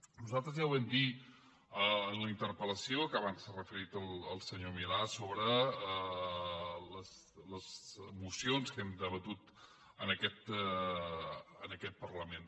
nosaltres ja ho vam dir en la interpel·lació que abans s’hi ha referit el senyor milà sobre les mocions que hem debatut en aquest parlament